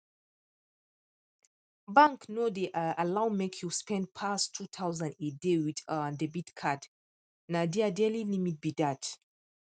bank no dey um allow make you spend pass 2000 a day with um debit card na their daily limit be dat